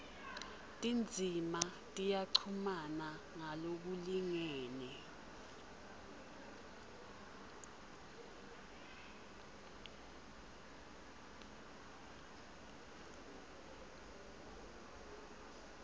tindzima tiyachumana ngalokulingene